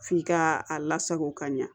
F'i ka a lasago ka ɲa